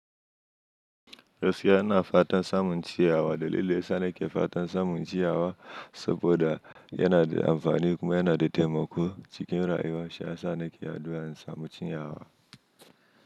Gaskiya a ana fatan samun ciyawa dalilin ya sa ne ke fatan samun ciyawa saboda yana da amfani kuma yana da taimako cikin rayuwa, shi ya sa ne ke addu'an samun ciyawa.